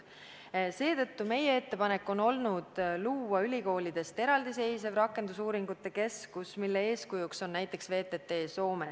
Seetõttu on meie ettepanek luua ülikoolidest eraldi seisev rakendusuuringute keskus, mille eeskujuks on näiteks VTT Soomes.